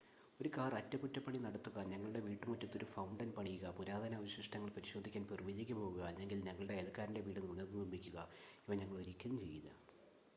ഒരു കാർ അറ്റകുറ്റപണി നടത്തുക ഞങ്ങളുടെ വീട്ടുമുറ്റത്ത് ഒരു ഫൗണ്ടൻ പണിയുക പുരാതന അവശിഷ്ടങ്ങൾ പരിശോധിക്കാൻ പെറുവിലേക്ക് പോകുക അല്ലെങ്കിൽ ഞങ്ങളുടെ അയൽക്കാരൻ്റെ വീട് പുനർനിർമ്മിക്കുക ഇവ ഞങ്ങൾ ഒരിക്കലും ചെയ്യില്ല